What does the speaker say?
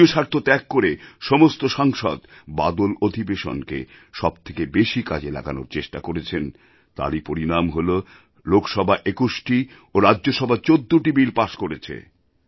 দলীয় স্বার্থ ত্যাগ করে সমস্ত সাংসদ বাদলঅধিবেশনকে সবথেকে বেশি কাজে লাগানোর চেষ্টা করেছেন তারই পরিনাম হলো লোকসভা ২১ টি ও রাজ্যসভা ১৪ টি বিল পাস করেছে